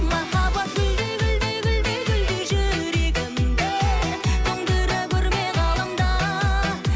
махаббат гүлдей гүлдей гүлдей гүлдей жүрегімді тоңдыра көрме ғаламда